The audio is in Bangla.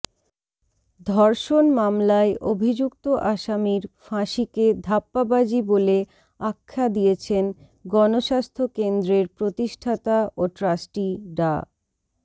ধর্ষণ মামলায় অভিযুক্ত আসামির ফাঁসিকে ধাপ্পাবাজি বলে আখ্যা দিয়েছেন গণস্বাস্থ্য কেন্দ্রের প্রতিষ্ঠাতা ও ট্রাস্টি ডা